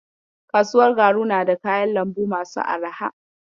Kasuwar garu na da kayan lambu masu arha.